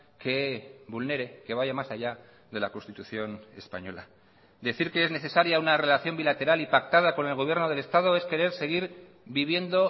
que vulnere que vaya más allá de la constitución española decir que es necesaria una relación bilateral y pactada con el gobierno del estado es querer seguir viviendo